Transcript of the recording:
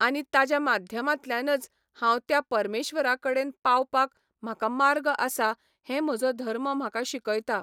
आनी ताज्या माध्यमांतल्यानच हांव त्या परमेश्वरा कडेन पावपाक म्हाका मार्ग आसा हें म्हजो धर्म म्हाका शिकयता